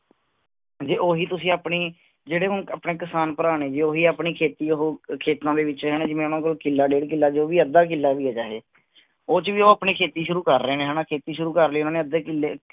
ਜੇ ਓਹੀ ਤੁਸੀਂ ਆਪਣੀ ਜਿਹੜੇ ਹੁਣ ਆਪਣੇ ਕਿਸਾਨ ਭਰਾ ਨੇ ਜੇ ਉਹ ਵੀ ਆਪਣੀ ਖੇਤੀ ਓਹੋ ਖੇਤਾਂ ਦੇ ਵਿਚ, ਜਿਵੇ ਉਨ੍ਹਾਂ ਕੋਲ ਕਿੱਲਾ, ਡੇਢ ਕਿਲਾ ਜੋ ਬੀ ਅੱਧਾ ਕਿੱਲਾ ਵੀ ਆ ਚਾਹੇ ਉੱਚ ਵੀ ਉਹ ਆਪਣੀ ਖੇਤੀ ਸ਼ੁਰੂ ਕਰ ਰਹੇ ਨੇ ਹਣਾ ਖੇਤੀ ਸ਼ੁਰੂ ਕਰ ਲੀ ਉਹਨਾਂ ਨੇ ਅੱਧੇ ਕਿੱਲਾ